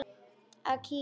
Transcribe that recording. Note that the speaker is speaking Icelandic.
Og kyngja.